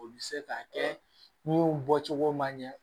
O bɛ se ka kɛ min bɔcogo man ɲɛ